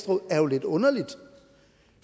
råd er lidt underligt